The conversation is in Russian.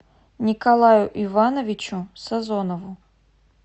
николаю ивановичу сазонову